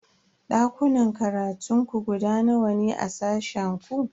Dakunan karatun ku guda nawa ne a sashen ku?